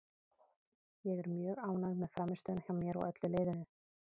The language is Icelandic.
Ég er mjög ánægð með frammistöðuna hjá mér og öllu liðinu.